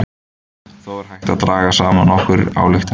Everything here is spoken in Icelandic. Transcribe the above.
þó er hægt að draga saman nokkrar ályktanir